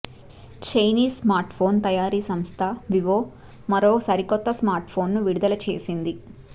Chinese smartphone తయారీ సంస్థ Vivo మరో సరికొత్త స్మార్ట్ ఫోన్ను విడుదల చేసింది